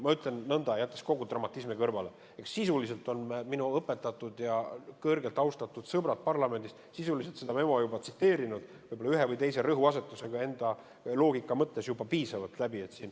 Ma ütlen nõnda, jättes kogu dramatismi kõrvale, et sisuliselt on minu õpetatud ja kõrgelt austatud sõbrad parlamendis seda memo juba tsiteerinud, võib-olla ühe või teise rõhuasetusega vastavalt enda loogikale.